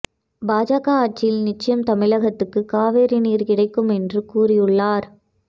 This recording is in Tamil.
பாஜக ஆட்சியில் நிச்சயம் தமிழகத்துக்கு காவிரி நீர் கிடைக்கும் என்று கூறியுள்ளார்